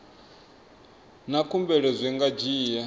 na khumbelo zwi nga dzhia